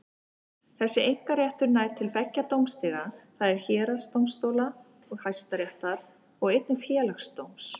Þessi einkaréttur nær til beggja dómstiga, það er héraðsdómstóla og Hæstaréttar, og einnig til Félagsdóms.